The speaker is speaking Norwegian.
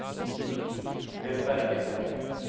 Glenn Berge